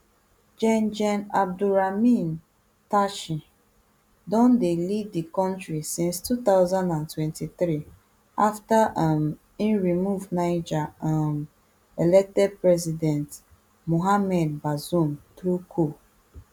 gen gen abdourahamane tchiani don dey lead di kontri since two thousand and twenty-three afta um e remove niger um elected president mohamed bazoum through coup